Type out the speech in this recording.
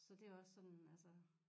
Så det også sådan altså